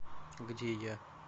где я